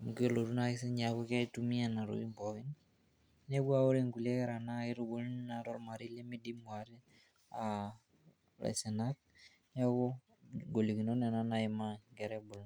amu kelotu naa ake sininye aaku keitumia nena tokitin pookin, inepu aa ore inkulie kera naa kitubuluni naa tolmarei limidimu aate uh ilaisinak neeku ingolikinot nena naimaa inkera ebulu.